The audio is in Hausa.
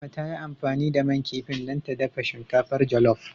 Adama ta yi amfani da man kifin dan ta dafa shinkafar jolof.